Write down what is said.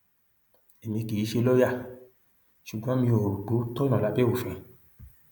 èmi kì í ṣe lọọyà ṣùgbọn mi ò rò pé ó tọnà lábẹ òfin